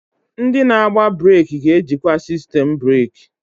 Ndị na-agba breeki ga-ejikwa sistemu breeki.